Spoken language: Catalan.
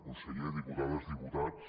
conseller diputades diputats